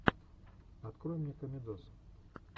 открой мне комедоз